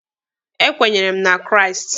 E kwenyere m na Kraịst.